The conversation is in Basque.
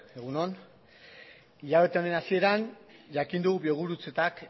egun on hilabete honen hasieran jakin dugu biogurutzetak